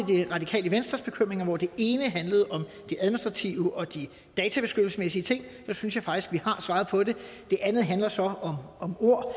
det radikale venstres bekymringer hvor det ene handlede om de og de databeskyttelsesmæssige ting synes jeg faktisk at vi har svaret på det det andet handler så om ord